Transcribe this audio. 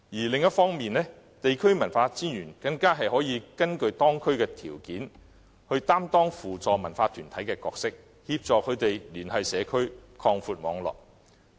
另一方面，地區文化專員更可根據當區的條件，擔當扶助文化團體的角色，協助他們聯繫社區，擴闊網絡。